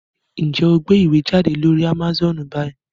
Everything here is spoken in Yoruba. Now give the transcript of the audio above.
Njé o gbé ìwé jáde lórí Amazone bí?